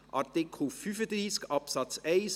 Artikel 35 Absatz 1